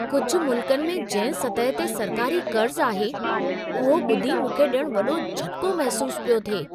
कुझ मुल्कनि में जंहिं सतह ते सरकारी क़र्ज़ आहे, उहो ॿुधी मूंखे ॼणु वॾो झटिको महिसूसु पियो थिए।